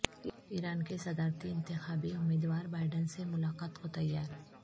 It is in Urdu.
ایران کے صدارتی انتخابی امیدوار بائیڈن سے ملاقات کو تیار